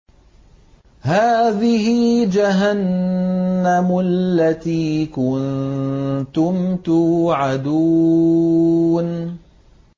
هَٰذِهِ جَهَنَّمُ الَّتِي كُنتُمْ تُوعَدُونَ